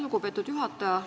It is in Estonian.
Lugupeetud juhataja!